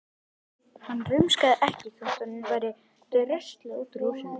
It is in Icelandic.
Hann rumskaði ekki þótt honum væri dröslað út úr húsinu.